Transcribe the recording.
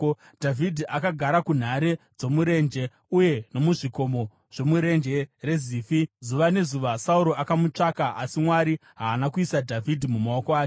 Dhavhidhi akagara munhare dzomurenje uye nomuzvikomo zvomuRenje reZifi. Zuva nezuva Sauro akamutsvaka, asi Mwari haana kuisa Dhavhidhi mumaoko ake.